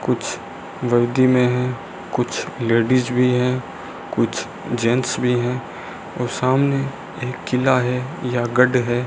कुछ वर्दी में हैं कुछ लेडीज भी हैं कुछ जेंट्स भी हैं और सामने एक किला है या गढ़ है।